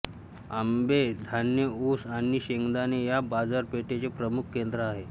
आंबे धान्य ऊस आणि शेंगदाणे या बाजारपेठेचे प्रमुख केंद्र आहे